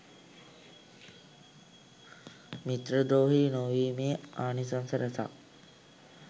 මිත්‍රද්‍රෝහී නොවීමේ ආනිසංස රැසක්